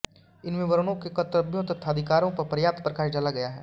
इनमें वर्णों के कर्तव्यों तथा अधिकारों पर पर्याप्त प्रकाश डाला गया है